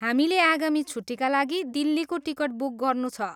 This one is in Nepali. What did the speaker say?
हामीले आगामी छुट्टीका लागि दिल्लीको टिकट बुक गर्नु छ।